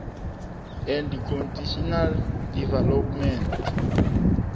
and constitutional development